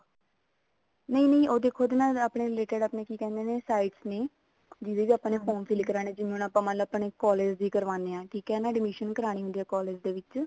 ਨਹੀਂ ਦੇਖੋ ਉਹਦੇ ਨਾਲ ਆਪਣੇ related ਆਪਣੇ ਕੀ ਕਹਿੰਦੇ ਨੇ sites ਜਿਹਦੇ ਚ ਆਪਾਂ ਨੇ form fill ਕਰਵਾਉਣੇ ਜਿਵੇਂ ਹੁਣ ਆਪਾਂ ਮੰਨਲੋ collage ਦੀ ਕਰਵਾਉਂਦੇ ਹਾਂ admission ਕਰਵਾਉਣੀ ਹੁੰਦੀ ਹੈ collage ਦੇ ਵਿੱਚ